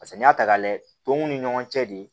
Paseke n'i y'a ta k'a layɛ tumuw ni ɲɔgɔn cɛ de